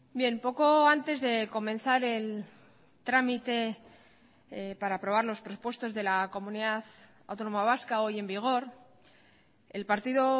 bien poco antes de comenzar el trámite para aprobar los presupuestos de la comunidad autónoma vasca hoy en vigor el partido